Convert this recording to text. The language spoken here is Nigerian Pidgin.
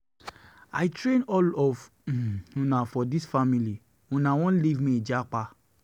I train all of una um for dis family, una wan leave me japa.